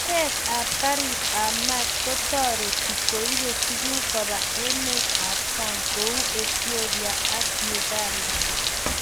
Oret ab garit ab mat ko tareti koibe tuguk koba emet ab sang' kou Ethiopia ak Uganda